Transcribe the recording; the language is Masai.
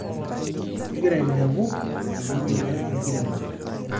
kegira ailepo eyeunoto enkiremore